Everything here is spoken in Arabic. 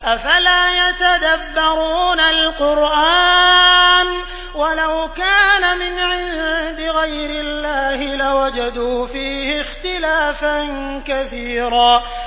أَفَلَا يَتَدَبَّرُونَ الْقُرْآنَ ۚ وَلَوْ كَانَ مِنْ عِندِ غَيْرِ اللَّهِ لَوَجَدُوا فِيهِ اخْتِلَافًا كَثِيرًا